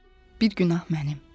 bir günah mənim.